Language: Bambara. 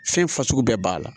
Fɛn fasugu bɛɛ b'a la